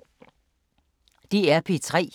DR P3